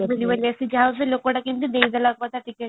ଦେବେନି ବୋଲି ଯା ହଉ ସେ ଲୋକ ଟା କେମିତି ଦେଇଦେଲା ticket |